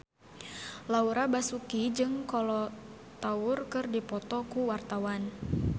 Laura Basuki jeung Kolo Taure keur dipoto ku wartawan